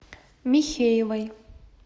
михеевой